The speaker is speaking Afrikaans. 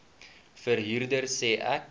verhuurder sê ek